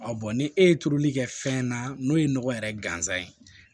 bɔn ni e ye turuli kɛ fɛn na n'o ye nɔgɔ yɛrɛ ganzan ye